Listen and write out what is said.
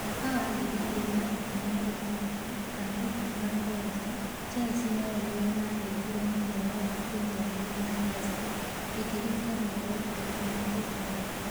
Mwaka wa ngiri igiri na ikũmi na ĩtathatũ/ikũmi na mũgwanja Chelsea nao nĩo maanyitire mũhiano wa Premier League na Hazard akĩringa mĩoroto Ikũmi na ĩtandatu.